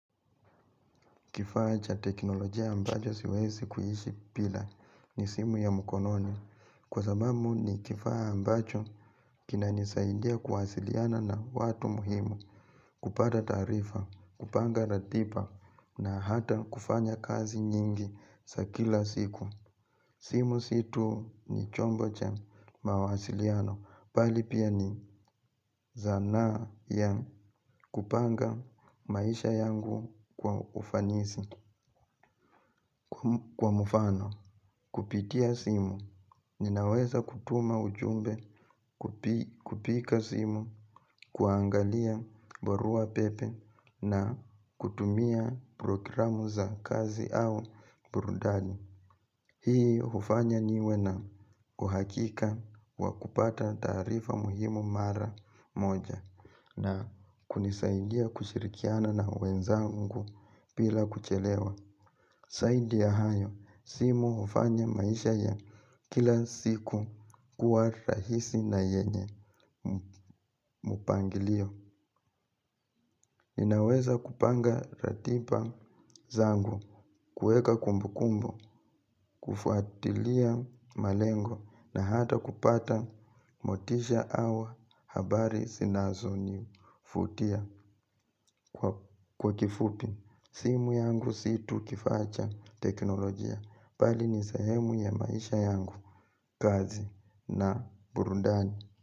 Kifaa cha teknolojia ambacho siwezi kuishi bila ni simu ya mkononi. Kwa sababu ni kifaa ambacho kinanisaidia kuwasiliana na watu muhimu, kupata tarifa, kupanga ratiba na hata kufanya kazi nyingi za kila siku. Simu si tu ni chombo cha mawasiliano, bali pia ni zana ya kupanga maisha yangu kwa ufanisi, kwa mfano. Kupitia simu, ninaweza kutuma ujumbe, kupiga simu, kuangalia barua pepe na kutumia programu za kazi au burudani. Hii hufanya niwe na kuhakika wa kupata tarifa muhimu mara moja na kunisaidia kushirikiana na wenzangu bila kuchelewa. Zaidi ya hayo, simu hufanya maisha ya kila siku kuwa rahisi na yenye mpangilio. Ninaweza kupanga ratiba zangu, kueka kumbukumbu, kufuatilia malengo na hata kupata motisha au habari zinazonivutia kwa kifupi. Simu yangu si tu kifaa cha teknolojia, bali ni sehemu ya maisha yangu, kazi na burundani.